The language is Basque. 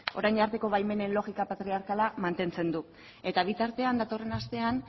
orain arteko baimenen logika patriarkala mantentzen du eta bitartean datorren astean